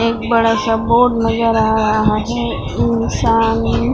एक बड़ा सा बोर्ड नजर आ रहा है साम--